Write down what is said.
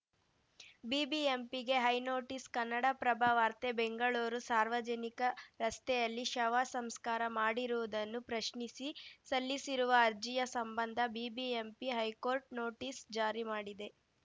ಬಿಬಿಎಂಪಿಗೆ high notice Kannada Prabha ವಾರ್ತೆ ಬೆಂಗಳೂರು ಸಾರ್ವಜನಿಕ ರಸ್ತೆಯಲ್ಲಿ ಶವ ಸಂಸ್ಕಾರ ಮಾಡಿರುವುದನ್ನು ಪ್ರಶ್ನಿಸಿ ಸಲ್ಲಿಸಿರುವ ಅರ್ಜಿಯ ಸಂಬಂಧ ಬಿಬಿಎಂಪಿ ಹೈಕೋರ್ಟ್‌ ನೋಟಿಸ್‌ ಜಾರಿ ಮಾಡಿದೆ